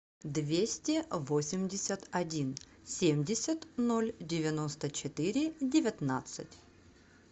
двести восемьдесят один семьдесят ноль девяносто четыре девятнадцать